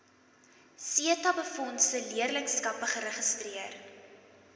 setabefondse leerlingskappe geregistreer